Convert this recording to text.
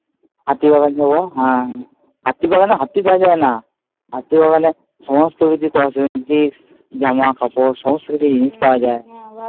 হাতিবাগান যাবো। হ্যাঁ, হাতিবাগানে হাতি পাওয়া যায় না হাতিবাগানে সমস্ত ঐ যে যে জামা কাপড় সমস্ত কিছু পাওয়া যায়।